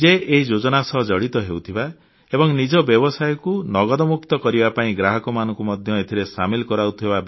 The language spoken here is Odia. ନିଜେ ଏହି ଯୋଜନା ସହ ଜଡ଼ିତ ହେଉଥିବା ଏବଂ ନିଜ ବ୍ୟବସାୟକୁ ନଗଦମକ୍ତୁ କରିବା ପାଇଁ ଗ୍ରାହକମାନଙ୍କୁ ମଧ୍ୟ ଏଥିରେ ସାମିଲ କରାଉଥିବେ